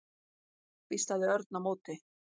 hvíslaði Örn á móti.